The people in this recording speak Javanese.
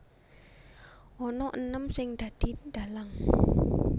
Ana enem sing dadi dhalang